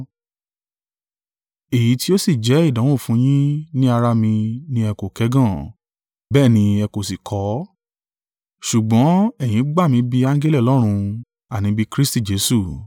Èyí tí ó sì jẹ́ ìdánwò fún yín ní ara mi ni ẹ kò kẹ́gàn, bẹ́ẹ̀ ni ẹ kò sì kọ̀; ṣùgbọ́n ẹ̀yin gbà mí bí angẹli Ọlọ́run, àní bí Kristi Jesu.